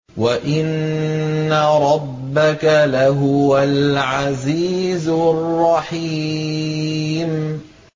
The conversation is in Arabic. وَإِنَّ رَبَّكَ لَهُوَ الْعَزِيزُ الرَّحِيمُ